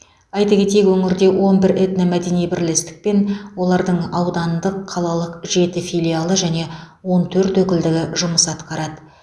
айта кетейік өңірде он бір этномәдени бірлестік пен олардың аудандық қалалық жеті филиалы және он төрт өкілдігі жұмыс атқарады